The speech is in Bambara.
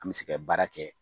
An mɛ se ka baara kɛ.